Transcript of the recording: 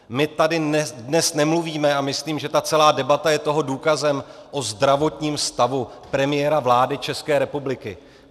My tady dnes nemluvíme, a myslím, že ta celá debata je toho důkazem, o zdravotním stavu premiéra vlády České republiky.